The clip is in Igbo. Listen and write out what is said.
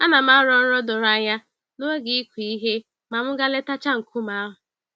Anam arọ nrọ doro anya n'oge ịkụ ihe ma m gaa letachaa nkume ahụ.